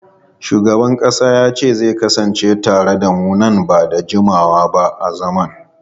Shugaban kasa zai kasance tare da mu nan ba da jimawa ba a zaman.